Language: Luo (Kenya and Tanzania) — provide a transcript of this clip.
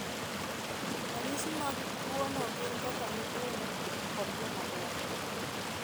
Ranyisi mag tuwono gin kaka nyithindo kod jomadongo.